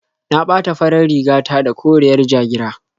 Na ɓata farar riga ta da koriyar ja-gira.